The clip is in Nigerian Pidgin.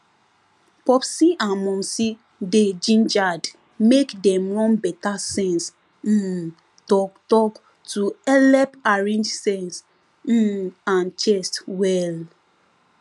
popsi and momsi dey gingered make dem run better sense um talktalk to helep arrange sense um and chest well